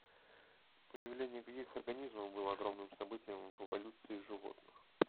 появление каких организмов было огромным событием в эволюции животных